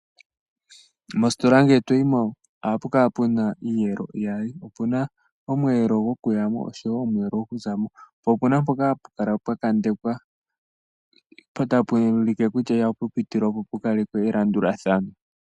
Mositola ngele toyimo oha pukala puna iiyelo iyali, opuna omwelo gokuyamo osho wo omwelo gokuzamo, po opuna poka hapukala pwa kandekwa pono tapulike kutya ihapupitilwa po opukale elanduladhano.